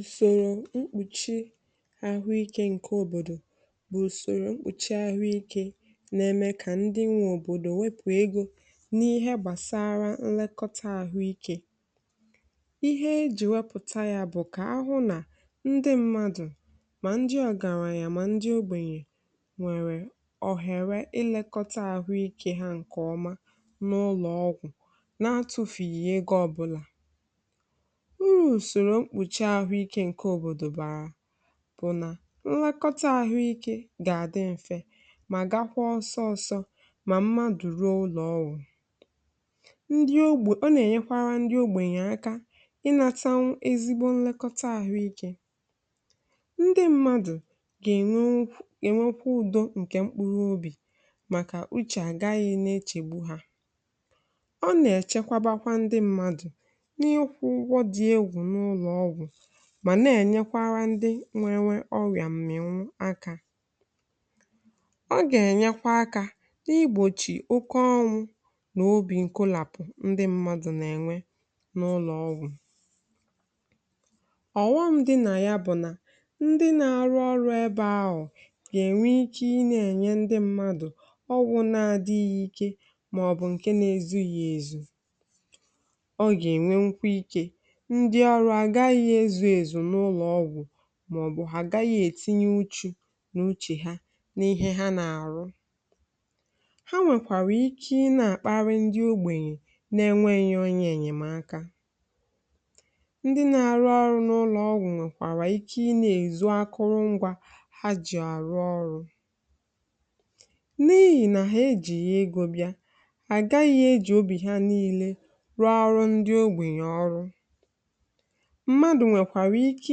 Ụsọ̀rọ̀ mkpuchi ahụ ike nke obodo bụ̀ usoro mkpuchi ahụ ike na-eme ka ndị nwe obodo wepụ egọ n’ihe gbasara nlekọta ahụ ike. Ihe e ji wepụta ya bụ̀ ka ahụ na ndị mmadụ ma ndị ọgaranya ma ndị ogbenye nwee ohere ilekọta ahụ ike ha nke ọma n’ụlọ ọgwụ, na-enweghị itufu ego ọbụla. Ụrụ̀ usoro mkpuchi ahụ ike nke obodo bara bụ̀ na nlekọta ahụ ike ga-adị mfe, ma gakwa ọsọsọ. Ọ ga-eme ka mmadụ ruo ụlọ ọgwụ ngwa ngwa. Ndị ogbe ọ na-enyekwara ndị ogbenye aka inata ezigbo nlekọta ahụ ike. Ndị mmadụ ga-enwe okwukwe, ga-enwekwa udo nke mkpughe obi, maka uche agaghị echegbu ha. Ọ na-echekwa, bakwa ndị mmadụ, ma na-enyekwara ndị nwere ọrịa mmịwụ aka. Ọ ga-enyekwa aka n’igbochi oke ọnwụ n’obi nkọlapụ̀ ndị mmadụ na-enwe n’ụlọ ọgwụ. Ọ bụrụ na ya bụ na ndị na-arụ ọrụ ebe ahụ ga-enwe ike inye ndị mmadụ ọgwụ na-adịrị ya ike, ma ọ bụ nke na-ezughị ezu, ndị ọrụ agaghị ezù ezù n’ụlọ ọgwụ. Ma ọ bụ agaghị etinye ụjọ n’uche ha n’ihe ha na-arụ. Ha nwekwara ike ịnakparị ndị ogbenye, na-enwe nnyocha, enyemaka. Ndị na-arụ ọrụ n’ụlọ ọgwụ nwekwara ike inye akụrụngwa ha ji arụ ọrụ, n’ihi na ha ejighị ya egọbịa. Agaghị eji obi ha niile rụọ ọrụ ndị ogbenye. Ụrụ mmadụ nwekwara ike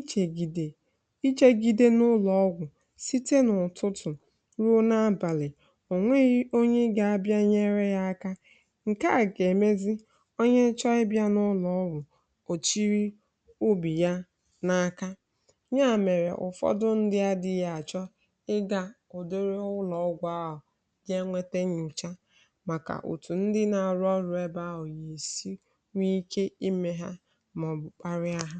ichegide, ichegide n’ụlọ ọgwụ site n’ụtụtụ ruo n’abalị. Onweghị onye ị ga-abịa nyere ya aka. Nke a ga-emezi onye chọọ ibịa n’ụlọ ọgwụ, kpochiri ubi ya n’aka ya. Mere ụfọdụ, ndị adịị ya achọ ịga ụdị ụlọ ọgwụ ahụ gaa nwete nyocha, maka ụtụ ndị na-arụ ọrụ ebe ahụ, yesi. Nke ọzọ, ọ bụ̀ kparị aha.